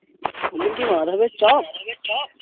তুমি কি মাধবের